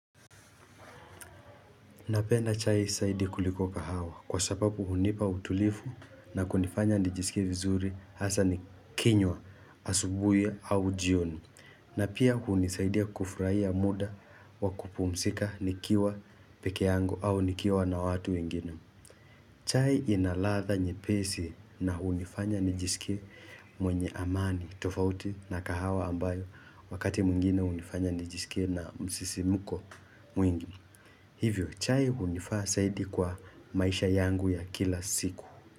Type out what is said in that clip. Napenda chai zaidi kuliko kahawa kwa sababu hunipa utulivu na kunifanya nijisikie vizuri hasa nikinywa asubuhi au jioni na pia hunisaidia kufurahia muda wa kupumzika nikiwa peke yangu au nikiwa na watu wengine. Chai ina ladha nyepesi na hunifanya nijisikie mwenye amani, tofauti na kahawa ambayo wakati mwingine hunifanya nijisikie na msisimko mwingi. Hivyo chai hunifaa zaidi kwa maisha yangu ya kila siku.